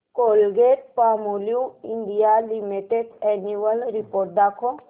Colgate Palmolive India limited annual report दाखव